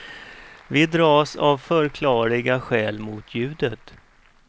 Vi dras av förklarliga skäl mot ljudet.